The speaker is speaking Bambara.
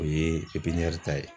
O ye pepiɲɛri ta ye